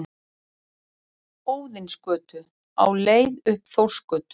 Óðinsgötu, á leið upp Þórsgötu.